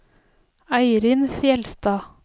Eirin Fjeldstad